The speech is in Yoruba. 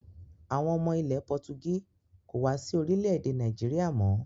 Àwọn ọmọ ilẹ̀ Pọtugí kò wá sí orílẹ̀-èdè Nàìjíríà mọ́